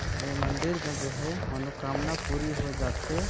ए मन्दिर में जो है मनोकामना पूरी हो जाथे।